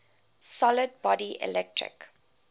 solid body electric